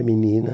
É menina.